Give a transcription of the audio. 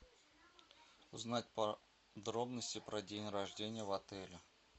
узнать подробности про день рождения в отеле